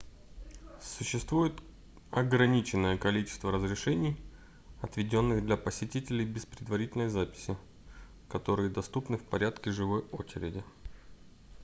существует ограниченное количество разрешений отведённых для посетителей без предварительной записи которые доступны в порядке живой очереди